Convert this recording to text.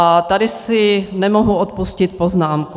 A tady si nemohu odpustit poznámku.